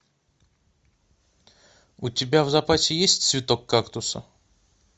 у тебя в запасе есть цветок кактуса